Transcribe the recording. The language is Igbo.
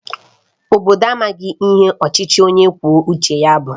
Obodo a amaghị ihe ọchịchị onye kwuo uche ya bụ